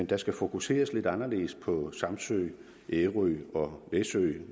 der skal fokuseres lidt anderledes på samsø ærø og læsø